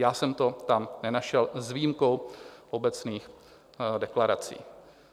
Já jsem to sám nenašel s výjimkou obecných deklarací.